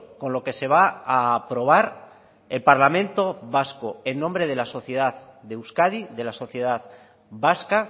con lo que se va a aprobar el parlamento vasco en nombre de la sociedad de euskadi de la sociedad vasca